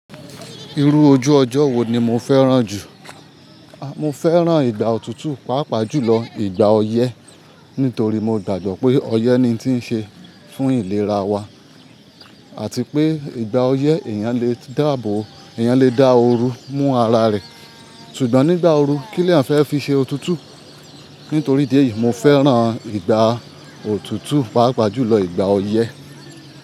Irú ojú ọjọ́ wo ni mo fẹ́ràn jù? A, mo fẹ́ràn ìgbà òtútù pàápàá jùlọ ìgbà ọyẹ́ nítorí mo gbàgbọ́ pé ọyẹ́ ni tí ń ṣe fún ìlera wa àti pé ìgbà ọyẹ́ èèyàn lè dá àbò, èèyàn lè dá ooru mú ara rẹ̀. Ṣùgbọ́n nígbà ooru kí ni eyan fẹ́ fi ṣe òtútù? Nítorí idí èyí, mo fẹ́ràn ìgbà òtútù pàápàá jùlọ ìgbà ọyẹ́.